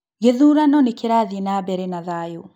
Gĩthurano nĩkĩrathiĩ na mbere na thayũ